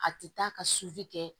A ti taa ka kɛ